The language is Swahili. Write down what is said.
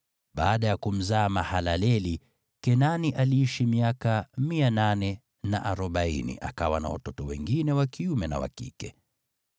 Baada ya kumzaa Mahalaleli, Kenani aliishi miaka 840, akawa na watoto wengine wa kiume na wa kike.